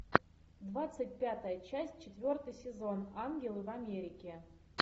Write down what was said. двадцать пятая часть четвертый сезон ангелы в америке